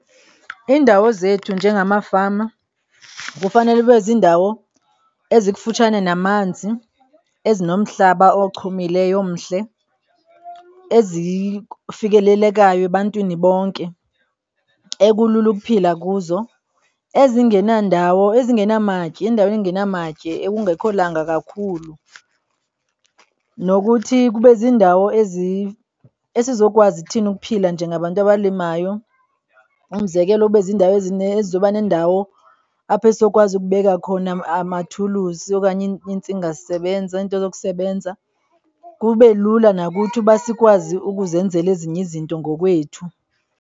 Iindawo zethu njengamafama kufanele ibe ziindawo ezikufutshane namanzi, ezinomhlaba ochumileyo, omhle, ezifikelelekayo ebantwini bonke, ekulula ukuphila kuzo, ezingenandawo, ezingenamatye, iindawo ezingenamatye ekungekho langa kakhulu. Nokuthi kube ziindawo esizokwazi thina ukuphila njengabantu abalimayo. Umzekelo, ube ziindawo ezizezoba neendawo apho sizokwazi ukubeka khona umathulusi okanye iintsingasebenza, iinto zokusebenza kube lula nakuthi uba sikwazi ukuzenzela ezinye izinto ngokwethu.